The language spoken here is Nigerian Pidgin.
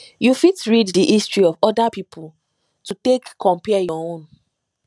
you fit read di history of oda pipo to take compare your own